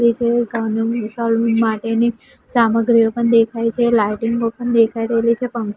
નીચે માટેની સામગ્રીઓ પણ દેખાય છે લાઈટીંગો પણ દેખાય રહેલી છે પં--